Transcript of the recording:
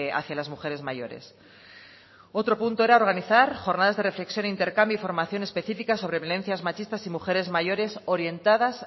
hacia las mujeres mayores otro punto era organizar jornadas de reflexión e intercambio y formación específicas sobre violencias machistas y mujeres mayores orientadas